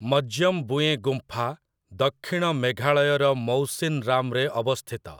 ମଜ୍ୟମ୍‌ବୁଏଁ ଗୁମ୍ଫା ଦକ୍ଷିଣ ମେଘାଳୟର ମଉସିନରାମରେ ଅବସ୍ଥିତ ।